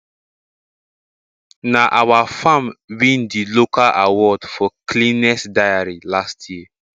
na our farm win d local award for cleanest dairy last year